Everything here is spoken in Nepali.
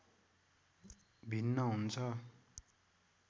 भिन्न हुन्छ